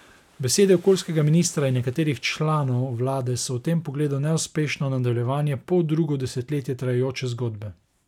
Besede okoljskega ministra in nekaterih članov vlade so v tem pogledu neuspešno nadaljevanje poldrugo desetletje trajajoče zgodbe.